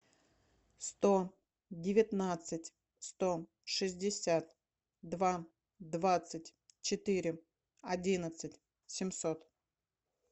сто девятнадцать сто шестьдесят два двадцать четыре одиннадцать семьсот